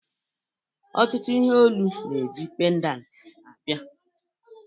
Ọtụtụ ihe olu na-eji pendant abịa